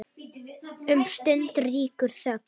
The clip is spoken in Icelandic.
Um stund ríkir þögn.